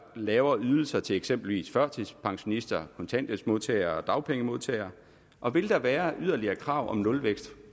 lavere ydelser til eksempelvis førtidspensionister kontanthjælpsmodtagere og dagpengemodtagere og vil der være yderligere krav om nulvækst